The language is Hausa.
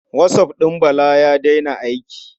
WhatsApp ɗin Bala ya daina aiki.